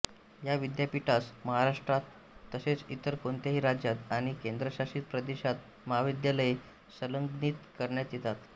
या विद्यापीठास महाराष्ट्रात तसेच इतर कोणत्याही राज्यात आणि केंद्रशासित प्रदेशात महाविद्यालये संलग्नित करता येतात